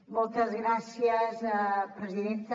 moltes gràcies presidenta